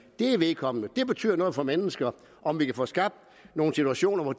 er vedkommende det betyder noget for mennesker om vi kan få skabt nogle situationer hvor